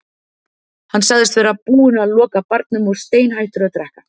Hann sagðist vera búinn að loka barnum og steinhættur að drekka.